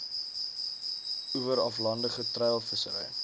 oewer aflandige treilvissery